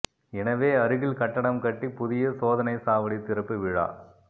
எனவே அருகில் கட்டடம் கட்டி புதிய சோதனை சாவடி திறப்பு விழா